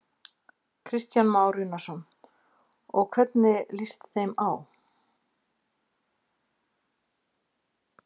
Kristján Már Unnarsson: Og hvernig líst þeim á?